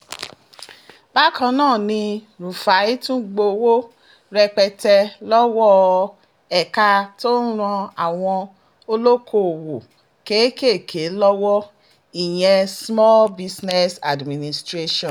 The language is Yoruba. bákan náà ni rúfáì tún gbowó rẹpẹtẹ lọ́wọ́ ẹ̀ka tó ń ran àwọn olókoòwò kéékèèké lọ́wọ́ ìyẹn small business administration